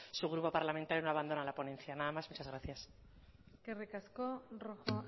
su grupo parlamentario no abandona la ponencia nada más muchas gracias eskerrik asko rojo